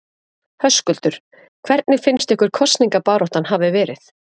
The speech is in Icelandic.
Höskuldur: Hvernig finnst ykkur kosningabaráttan hafa verið?